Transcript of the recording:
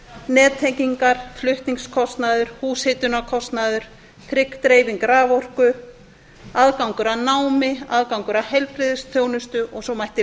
nettengingar flutningskostnaður húshitunarkostnaður trygg dreifing raforku aðgangur að námi aðgangur að heilbrigðisþjónustu og svo mætti